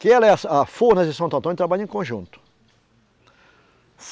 Que ela é a, a Furnas de Santo Antônio trabalha em conjunto.